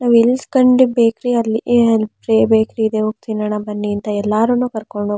ನಾವು ಬೇಕರಿ ಅಲ್ಲಿಗೆ ಅಲ್ಲಿಬೇಕರಿ ಇದೆ ಹೋಗಿ ತಿನ್ನೋಣ ಬನ್ನಿ ಅಂತ ಎಲ್ಲರೂನ್ನು ಕರ್ಕೊಂಡು--